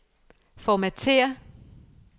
formatér